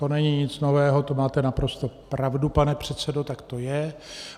To není nic nového, to máte naprosto pravdu, pane předsedo, tak to je.